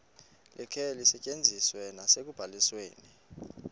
likhe lisetyenziswe nasekubalisweni